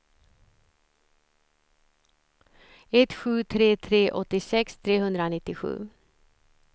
ett sju tre tre åttiosex trehundranittiosju